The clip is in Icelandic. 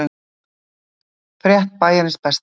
Frétt Bæjarins besta